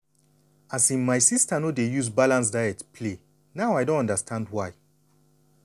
um my sister no dey used balanced diet play. now i don understand why.